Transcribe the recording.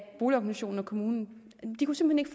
boligorganisationen og kommunen de kunne simpelt